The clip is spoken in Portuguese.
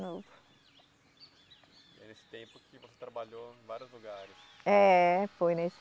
Foi nesse tempo que você trabalhou em vários lugares. É, foi nesse